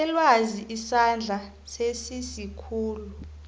selwazi isandla sesikhulu